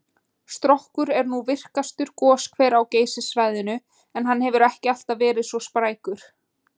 Strokkur er nú virkastur goshver á Geysissvæðinu, en hann hefur ekki alltaf verið svo sprækur.